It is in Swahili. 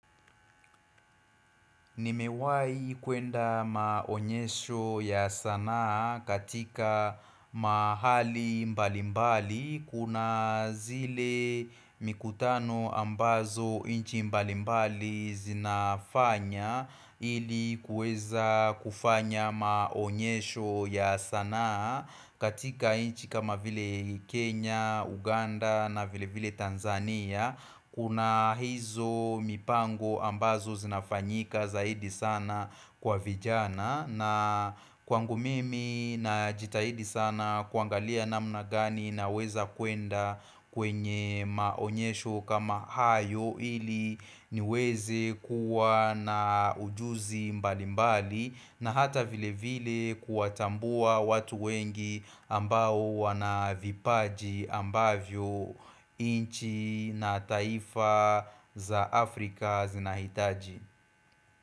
Nimewai kuenda maonyesho ya sanaa katika mahali mbalimbali Kuna zile mikutano ambazo inchi mbalimbali zinafanya Ili kueza kufanya maonyesho ya sanaa katika inchi kama vile Kenya, Uganda na vile vile Tanzania Kuna hizo mipango ambazo zinafanyika zaidi sana kwa vijana na kwangu mimi najitahidi sana kuangalia namna gani naweza kuenda kwenye maonyesho kama hayo ili niweze kuwa na ujuzi mbali mbali na hata vile vile kuatambua watu wengi ambao wana vipaji ambavyo inchi na taifa za Afrika zinahitaji.